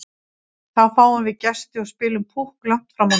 Þá fáum við gesti og spilum Púkk langt fram á nótt.